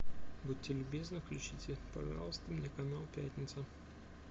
будьте любезны включите пожалуйста мне канал пятница